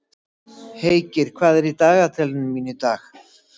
Heikir, hvað er í dagatalinu mínu í dag?